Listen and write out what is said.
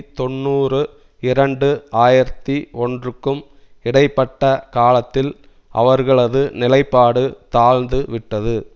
தொன்னூறு இரண்டு ஆயிரத்தி ஒன்றுக்கும் இடை பட்ட காலத்தில் அவர்களது நிலைப்பாடு தாழ்ந்து விட்டது